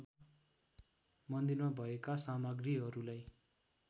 मन्दिरमा भएका सामग्रीहरूलाई